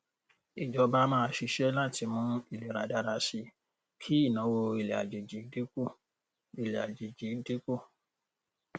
ìjọba máa ṣiṣẹ lati mú ìlera dára síi kí ìnáwó ilẹàjèjì dín kù ilẹàjèjì dín kù